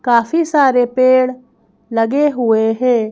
काफी सारे पेड़ लगे हुए हैं।